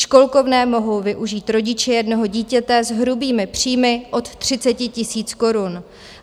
Školkovné mohou využít rodiče jednoho dítěte s hrubými příjmy od 30 000 korun.